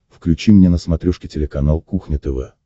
включи мне на смотрешке телеканал кухня тв